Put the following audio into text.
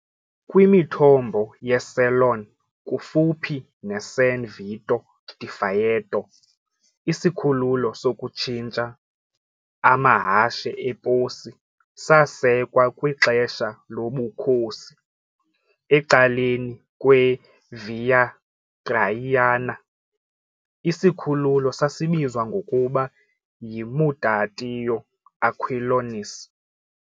Kwimithombo yeCelone, kufuphi neSan Vito di Faeto, isikhululo sokutshintsha amahashe eposi sasekwa kwixesha lobukhosi ecaleni kwe- Via Traiana, isikhululo sasibizwa ngokuba "yimutatio Aquilonis" .